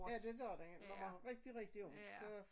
Ja det gør den når man har rigtig rigtig ondt så